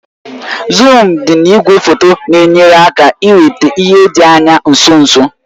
Zuum dị na igwefoto na-enyere aka iweta ihe dị anya nso nso